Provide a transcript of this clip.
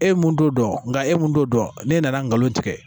E ye mun t'o dɔn nka e mun t'o dɔn ne nana n galonlon tigɛ